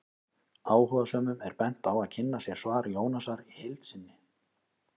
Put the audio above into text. Áhugasömum er bent á að kynna sér svar Jónasar í heild sinni.